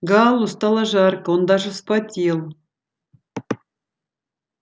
гаалу стало жарко он даже вспотел